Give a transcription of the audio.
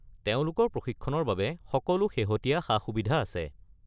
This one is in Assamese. তেওঁলোকৰ প্ৰশিক্ষণৰ বাবে সকলো শেহতীয়া সা-সুবিধা আছে।